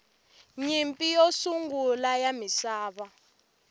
nyimpi yo sungula ya misava